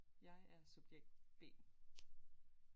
Jeg er subjekt B